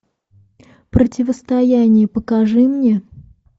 противостояние покажи мне